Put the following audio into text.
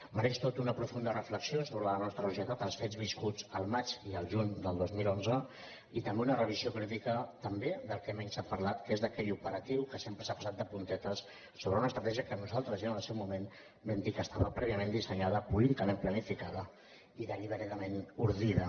mereixen tota una profunda reflexió sobre la nostra societat els fets viscuts el maig i el juny del dos mil onze i també una revisió crítica també del que menys s’ha parlat que és d’aquell operatiu que sempre s’hi ha passat de puntetes sobre una estratègia que nosaltres ja en el seu moment vam dir que estava prèviament dissenyada políticament planificada i deliberadament ordida